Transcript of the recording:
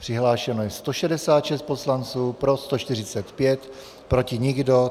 Přihlášeno je 166 poslanců, pro 145, proti nikdo.